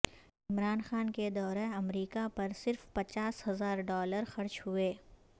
عمران خان کے دورہ امریکہ پر صرف پچا س ہزار ڈالر خرچ ہوئے